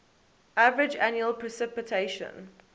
average annual precipitation